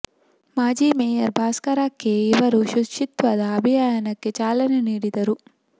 ಮಾಜಿ mayor Bhaskara K ಇವರು ಶುಚಿತ್ವದ ಅಭಿಯಾನಕ್ಕೆ ಚಾಲನೆ ನೀಡಿದರು